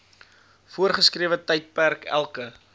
voorgeskrewe tydperk elke